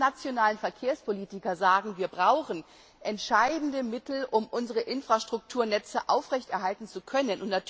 Alle nationalen Verkehrspolitiker sagen, wir brauchen erhebliche Mittel, um unsere Infrastrukturnetze aufrechterhalten zu können.